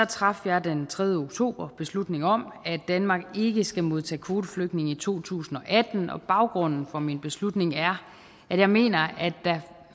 traf jeg den tredje oktober beslutning om at danmark ikke skal modtage kvoteflygtninge i to tusind og atten og baggrunden for min beslutning er at jeg mener at der